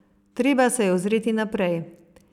Treba se je ozreti naprej.